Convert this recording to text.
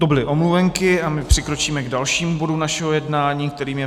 To byly omluvenky a my přikročíme k dalším bodům našeho jednání, kterým je